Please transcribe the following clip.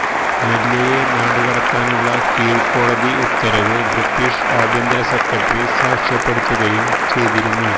മല്യയെ നാടുകടത്താനുള്ള കീഴ്ക്കോടതി ഉത്തരവ് ബ്രിട്ടിഷ് ആഭ്യന്തര സെക്രട്ടറി സാക്ഷ്യപ്പെടുത്തുകയും ചെയ്തിരുന്നു